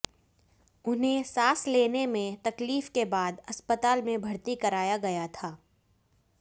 उन्हें सांस लेने में तकलीफ के बाद अस्पताल में भर्ती कराया गया था